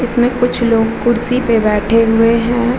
इसमें कुछ लोग कुर्सी पे बैठे हुए हैं |